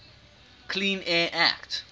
clean air act